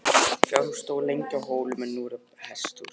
Fjárhús stóð lengi á hólnum en nú er þar hesthús.